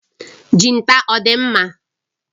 Jinta ọ dị mma?